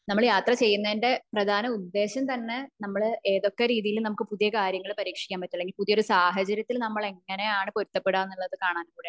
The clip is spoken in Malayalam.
നമ്മൾ യാത്ര ചെയ്യുന്നതിന്റെ പ്രധാന ഉദ്ദേശം തന്നെ നമ്മൾ ഏതൊക്കെ രീതിയിൽ നമുക്ക് പുതിയ കാര്യങ്ങൾ പരീക്ഷിക്കാൻ പറ്റും അല്ലെങ്കിൽ ഒരു സാഹചര്യത്തിൽ നമ്മൾ എങ്ങനെ ആണ് പൊരുത്തപ്പെട്ടു എന്ന കാണാൻ കൂടെ ആണ്